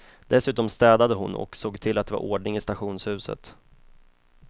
Dessutom städade hon och såg till att det var ordning i stationshuset.